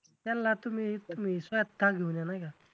त्यांला तुम्ही तुम्ही स्वतः घेऊन या नाही का?